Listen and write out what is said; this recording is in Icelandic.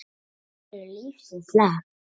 Heyrðir þú lífsins lag?